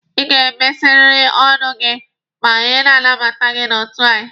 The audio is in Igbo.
Ị ga-emesiriri ọnụ gị ma anyị na-anabata gị n'otu anyị!